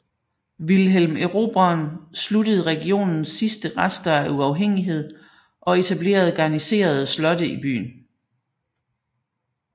Wilhelm Erobreren sluttede regionens sidste rester af uafhængighed og etablerede garniserede slotte i byen